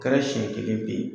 Kɛra siɲɛ kelen pe.